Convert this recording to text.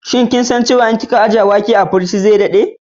Shin kin san cewa idan kin ajiye wake a cikin firiji zai dade?